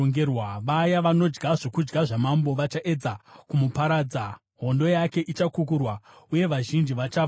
Vaya vanodya zvokudya zvamambo vachaedza kumuparadza; hondo yake ichakukurwa, uye vazhinji vachafa muhondo.